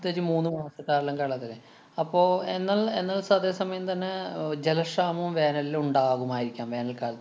പ്രത്യേകിച്ച് മൂന്നു മാസക്കാലം കേരളത്തിലേ. അപ്പൊ എന്നാല്‍ എന്നാല്‍ അതേസമയം തന്നെ അഹ് ജലക്ഷാമോം, വേനലിലുണ്ടാകുമായിരിക്കാം വേനല്‍കാലത്ത്